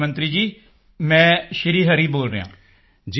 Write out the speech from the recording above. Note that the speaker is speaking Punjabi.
ਪ੍ਰਧਾਨ ਮੰਤਰੀ ਜੀ ਮੈਂ ਸ਼੍ਰੀ ਹਰੀ ਬੋਲ ਰਿਹਾ ਹਾਂ